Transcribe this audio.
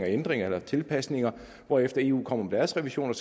ændringer eller tilpasninger hvorefter eu kommer med deres revision og